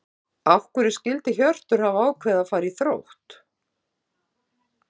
Af hverju skyldi Hjörtur hafa ákveðið að fara í Þrótt?